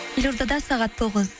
елордада сағат тоғыз